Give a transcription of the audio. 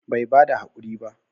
Bai bada hakuri ba?